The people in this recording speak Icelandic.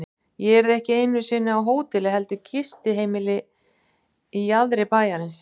Ég yrði ekki einu sinni á hóteli heldur gistiheimili í jaðri bæjarins.